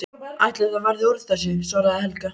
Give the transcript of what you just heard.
Ætli það verði úr þessu, svaraði Helga.